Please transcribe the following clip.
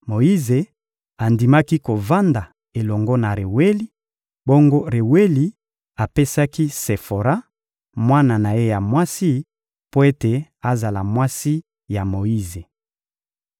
Moyize andimaki kovanda elongo na Reweli; bongo Reweli apesaki Sefora, mwana na ye ya mwasi, mpo ete azala mwasi ya Moyize.